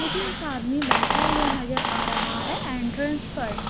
मुझे एक आदमी बैठा हुआ नजर आ रहा है एंट्रेंस पर|--